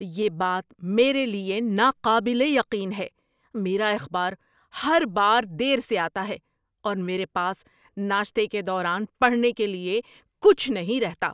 یہ بات میرے لیے ناقابل یقین ہے! میرا اخبار ہر بار دیر سے آتا ہے، اور میرے پاس ناشتے کے دوران پڑھنے کے لیے کچھ نہیں رہتا۔